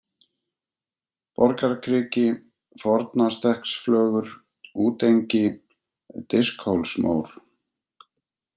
Borgarkriki, Fornastekksflögur, Útengi, Diskhólsmór